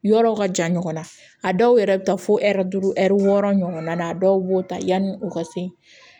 Yɔrɔw ka jan ɲɔgɔn na a dɔw yɛrɛ bɛ taa fo ɛri duuru ɛri wɔɔrɔ ɲɔgɔn na a dɔw b'o ta yanni u ka se